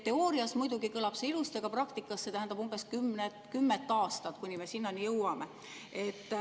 Teoorias kõlab see muidugi ilusti, aga praktikas tähendab see umbes kümmet aastat, kuni me sinnani jõuame.